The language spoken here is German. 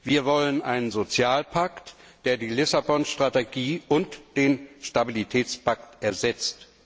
Wir wollen einen Sozialpakt, der die Lissabon Strategie und den Stabilitätspakt ersetzt.